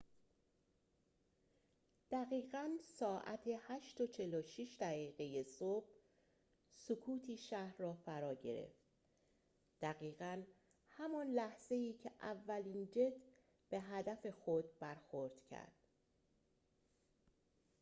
دقیقاً ساعت ۸:۴۶ صبح سکوتی شهر را فرا گرفت دقیقاً همان لحظه‌ای که اولین جت به هدف خود برخورد کرد